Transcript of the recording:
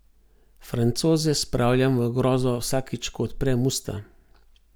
Francoze spravljam v grozo vsakič ko odprem usta.